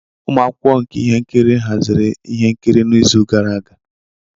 Ụmụ akwụkwọ nka ihe nkiri haziri ihe nkiri n'izu gara aga.